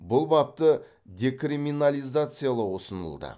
бұл бапты декриминализациялау ұсынылды